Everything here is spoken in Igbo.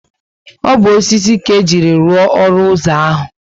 O bu osisi ka ejiri lụọ olu ụzọ ahu